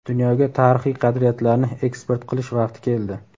dunyoga tarixiy qadriyatlarni eksport qilish vaqti keldi.